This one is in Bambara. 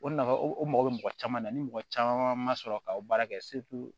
O nafa o mɔgɔ bɛ mɔgɔ caman na ni mɔgɔ caman ma sɔrɔ ka o baara kɛ